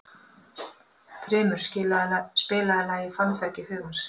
Þrymur, spilaðu lagið „Fannfergi hugans“.